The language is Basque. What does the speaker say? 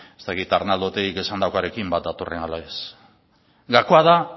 ez dakit arnaldo otegik esandakoarekin bat datorren ala ez gakoa da